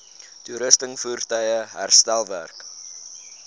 toerusting voertuie herstelwerk